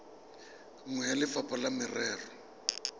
nngwe ya lefapha la merero